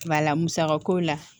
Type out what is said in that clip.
Bala musaka ko la